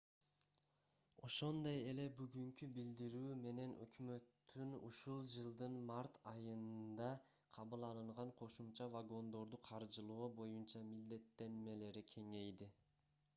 ошондой эле бүгүнкү билдирүү менен өкмөттүн ушул жылдын март айында кабыл алынган кошумча вагондорду каржылоо боюнча милдеттенмелери кеңейди